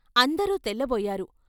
అందరూ తెల్లబోయారు.